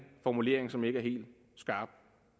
formulering som ikke er helt skarp